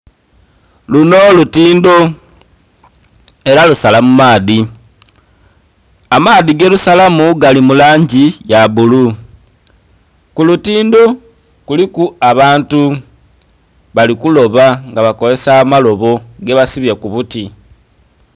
Luno lutindho era lusala mu maadhi amaadhi gerusalamu Gali mu langi ya bulu, kulutindho kuliku abantu bali kuloba NGA bakozesa amalobo gebasibye ku buti.